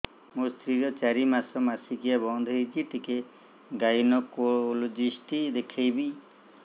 ମୋ ସ୍ତ୍ରୀ ର ଚାରି ମାସ ମାସିକିଆ ବନ୍ଦ ହେଇଛି ଟିକେ ଗାଇନେକୋଲୋଜିଷ୍ଟ ଦେଖେଇବି